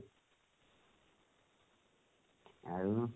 ଆଉ